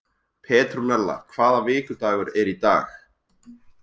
Petrúnella, hvaða vikudagur er í dag?